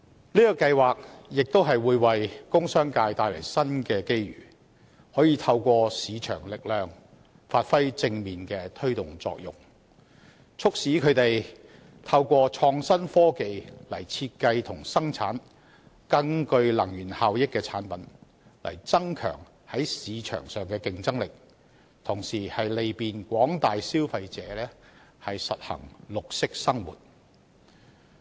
這計劃亦會為工商界帶來新機遇，可以透過市場力量發揮正面的推動作用，促使他們透過創新科技來設計和生產更具能源效益的產品，增強在市場上的競爭力，同時利便廣大消費者實行綠色生活。